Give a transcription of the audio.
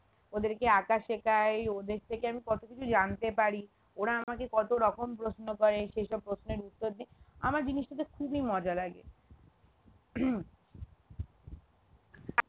ওদেরকে আঁকা শেখাই ওদের থেকে আমি কত কিছু জানতে পারি ওর আমাকে কতরকম প্রশ্ন করে সেসব প্রশ্নের উত্তর দি আমার জিনিসটাতে খুবই মজা লাগে